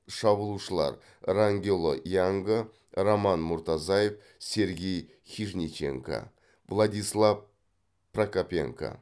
шабуылшылар рангело янга роман муртазаев сергей хижниченко владислав прокопенко